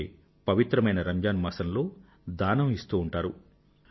అందుకే పవిత్రమైన రంజాన్ మాసంలో దానం ఇస్తు ఉంటారు